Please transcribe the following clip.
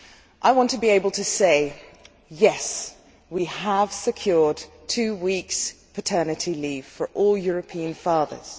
I want to be able to say, Yes, we have secured two weeks' paternity leave for all European fathers.